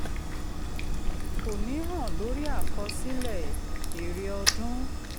kò ní hàn lórí àkọsílẹ̀ èrè ọdún.